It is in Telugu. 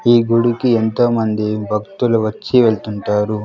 ఈ గుడికి ఎంతో మంది భక్తులు వచ్చి వెళ్తుంటారు.